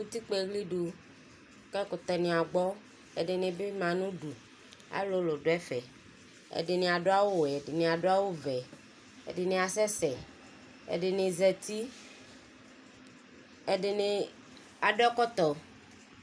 Utikpa ɛxlidʋ kʋ ɛkʋtɛ ni agbɔ alʋlʋ dʋ ɛfɛ ɛdini adʋ awʋwɛ ɛdini adʋ awʋvɛ ɛdini asɛsɛ ɛdini zati ɛdini adʋ ɛkɔtɔ